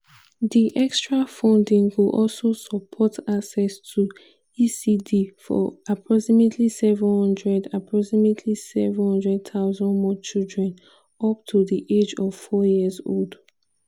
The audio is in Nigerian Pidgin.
"di extra funding go also support access to ecd for approximately 700 approximately 700 000 more children up to di age of four years old.